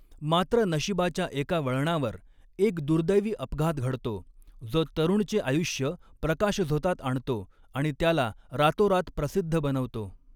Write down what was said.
मात्र, नशीबाच्या एका वळणावर एक दुर्दैवी अपघात घडतो, जो तरूणचे आयुष्य प्रकाशझोतात आणतो आणि त्याला रातोरात प्रसिद्ध बनवतो.